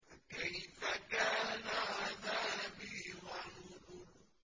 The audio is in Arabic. فَكَيْفَ كَانَ عَذَابِي وَنُذُرِ